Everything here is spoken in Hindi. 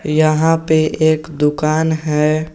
यहां पे एक दुकान है।